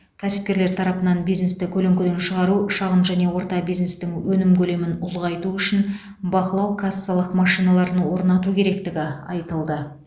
кәсіпкерлер тарапынан бизнесті көлеңкеден шығару шағын және орта бизнестің өнім көлемін ұлғайту үшін бақылау кассалық машиналарын орнату керектігі айтылды